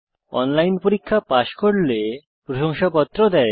online পরীক্ষা pass করলে প্রশংসাপত্র দেয়